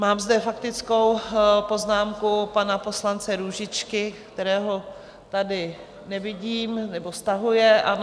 Mám zde faktickou poznámku pana poslance Růžičky, kterého tady nevidím - nebo stahuje, ano.